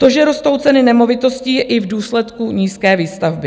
To, že rostou ceny nemovitostí, je i v důsledku nízké výstavby.